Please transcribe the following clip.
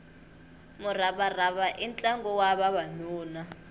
muravarava i ntlangu wa vavanuna